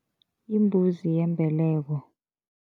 Yimbuzi yembeleko.